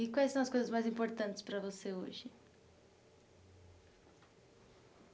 E quais são as coisas mais importantes para você hoje?